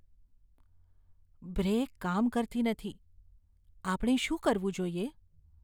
Break કામ કરતી નથી. આપણે શું કરવું જોઈએ?